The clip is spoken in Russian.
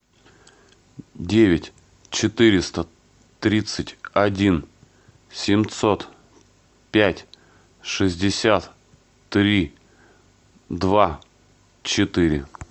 девять четыреста тридцать один семьсот пять шестьдесят три два четыре